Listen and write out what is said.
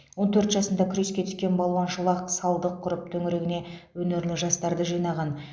он төрт жасында күреске түскен балуан шолақ салдық құрып төңірегіне өнерлі жастарды жинаған